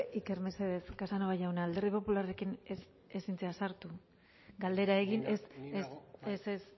iker mesedez casanova jauna alderdi popularrekin ezin zara sartu galdera egin ez ez ez